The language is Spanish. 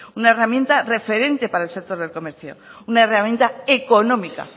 una herramienta referente para el sector del comercio una herramienta económica